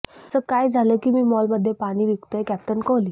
असं काय झालं की मॉलमध्ये पाणी विकतोय कॅप्टन कोहली